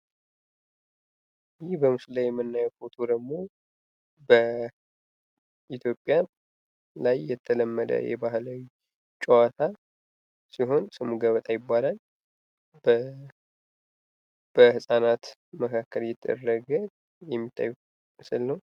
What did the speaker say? ይህ በምስሉ ላይ የምናየው ፎቶ ደግሞ በኢትዮጵያ ላይ የተለመደ ባህላዊ ጭዋታ ሲሆን ስሙ ገበጣ ይባላል። በህፃናት መካከል እየተደረገ የሚታይ ምስል ነው።